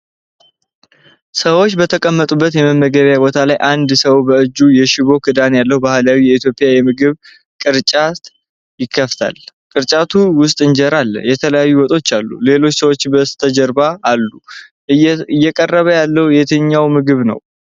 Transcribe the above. ሰዎች በተቀመጡበት የመመገቢያ ቦታ ላይ አንድ ሰው በእጁ የሽቦ ክዳን ያለው ባህላዊ የኢትዮጵያ የምግብ ቅርጫት ይከፍታል። ቅርጫቱ ውስጥ እንጀራ ላይ የተለያዩ ወጦች አሉ። ሌሎች ሰዎች በስተጀርባ አሉ። እየቀረበ ያለው የትኛው ምግብ ነው?